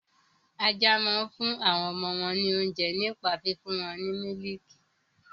Ajá máa ń fún àwọn ọmọ wọn ní oúnjẹ nípa fífún wọn ní mílìkì.